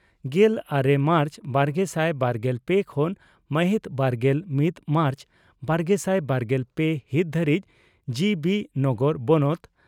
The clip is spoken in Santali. ᱜᱮᱞ ᱟᱨᱮ ᱢᱟᱨᱪ ᱵᱟᱨᱜᱮᱥᱟᱭ ᱵᱟᱨᱜᱮᱞ ᱯᱮ ᱠᱷᱚᱱ ᱢᱟᱦᱤᱛ ᱵᱟᱨᱜᱮᱞ ᱢᱤᱛ ᱢᱟᱨᱪ ᱵᱟᱨᱜᱮᱥᱟᱭ ᱵᱟᱨᱜᱮᱞ ᱯᱮ ᱦᱤᱛ ᱫᱷᱟᱹᱨᱤᱡ ᱡᱤᱹᱵᱤᱹ ᱱᱚᱜᱚᱨ ᱵᱚᱱᱚᱛ